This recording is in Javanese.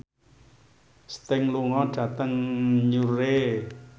Sting lunga dhateng Newry